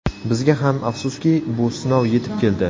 Bizga ham, afsuski, bu sinov yetib keldi.